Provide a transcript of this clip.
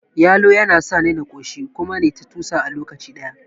Yalo yana sani na ƙoshi kuma nayi ta tusa a lokaci ɗaya